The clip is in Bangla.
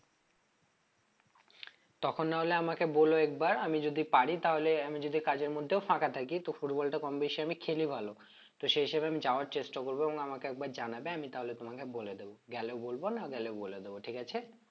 তখন নাহলে আমাকে বলো একবার আমি যদি পারি তাহলে আমি যদি কাজের মধ্যেও ফাঁকা থাকি তো football টা কম বেশি আমি খেলি ভালো তো সেই হিসেবে আমি যাওয়ার চেষ্টা করবো এবং আমাকে একবার জানাবে আমি তাহলে তোমাকে বলে দেব গেলে বলবো না গেলেও বলে দেব ঠিক আছে?